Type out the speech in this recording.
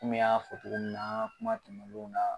Kom'i y'a fɔ togomin na an ŋa kuma tɛmɛnenw na